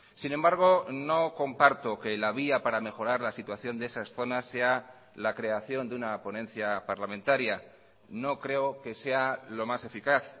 sin embargo no comparto que la vía para mejorar la situación de esas zonas sea la creación de una ponencia parlamentaria no creo que sea lo más eficaz